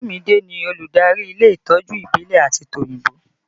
Olumide ni olùdarí ilé ìtọ́jú ìbílẹ̀ àti tòyìnbó